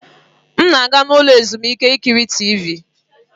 M na-aga n'ụlọ ezumike ikiri Tiivi.